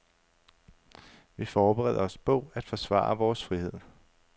Vi forbereder os på at forsvare vores frihed.